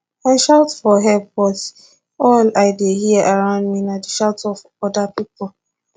i shout for help but all i dey hear around me na di shout of oda pipo